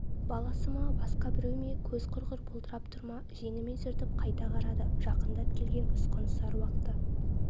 баласы ма басқа біреу ме көз құрғыр бұлдырап тұр ма жеңімен сүртіп қайта қарады жақындап келген ұсқынсыз аруақты